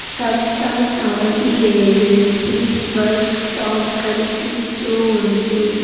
సప్త Sai agencies workshop కనిపిస్తూ ఉంది.